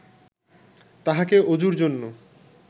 তাঁহাকে ওজুর জন্য